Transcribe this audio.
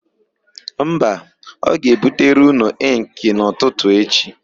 Mba, ọ ga-ebutere ụnụ ịnkị n'ụtụtụ echi.